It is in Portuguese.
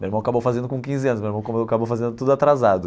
Meu irmão acabou fazendo com quinze anos, meu irmão acabou fazendo tudo atrasado.